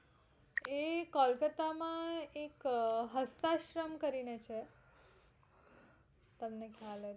એ કોલકાતા માં એક હસ્તાશ્રમ કરીને છે તમને ખ્યાલ હોય તો